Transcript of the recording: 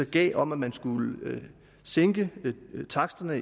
gav om at man skulle sænke taksterne